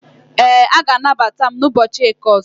Ee, a ga-anagbata ​​m na ụbọchị eke ọzọ